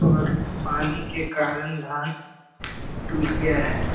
और पानी के कारण धान डूब गया हैं।